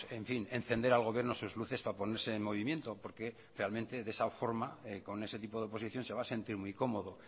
en fin encender al gobierno sus luces para ponerse en movimiento porque realmente de esa forma con ese tipo de oposición se va a sentir muy cómodo